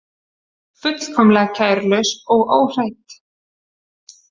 Fullkomlega kærulaus og óhrædd.